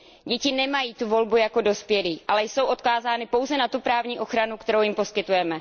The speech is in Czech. Děti nemají tu volbu jako dospělí, ale jsou odkázány pouze na tu právní ochranu, kterou jim poskytujeme.